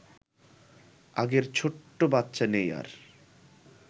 আগের ছোট্ট বাচ্চা নেই আর